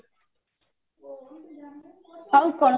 ଆଉ କହ